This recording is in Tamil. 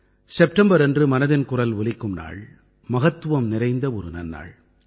செப்டம்பர் அன்று மனதின் குரல் ஒலிக்கும் நாள் மகத்துவம் நிறைந்த ஒரு நன்னாள்